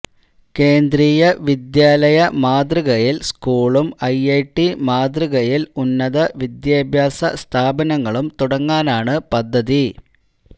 കേന്ദ്രീയ വിദ്യാലയ മാതൃകയിൽ സ്കൂളും ഐഐടി മാതൃകയിൽ ഉന്നത വിദ്യാഭ്യാസ സ്ഥാപനങ്ങളും തുടങ്ങാനാണ് പദ്ധതി